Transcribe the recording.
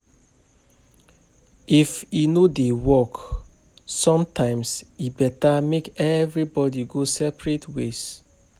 If e no dey work, sometimes e better make everybody go separate ways.